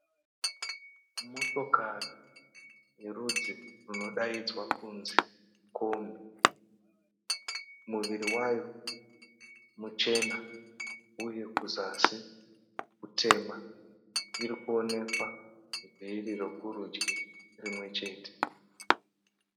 Motokari yerudzi runodayidzwa kunzi Kombi. Muviri wayo muchena uye kuzasi kutema. Irikuwonekwa nhivi rekurudyi rimwe chete.